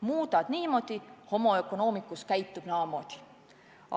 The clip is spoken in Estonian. Muudad niimoodi, homo economicus käitub naamoodi.